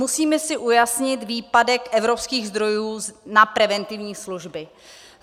Musíme si ujasnit výpadek evropských zdrojů na preventivní služby.